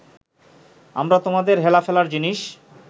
আমরা তোমাদের হেলাফেলার জিনিস